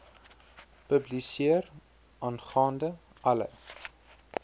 publiseer aangaande alle